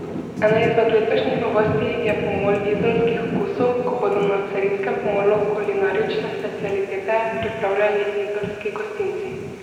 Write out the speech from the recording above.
Ena izmed letošnjih novosti je pomol izolskih okusov, ko bodo na carinskem pomolu kulinarične specialitete pripravljali izolski gostinci.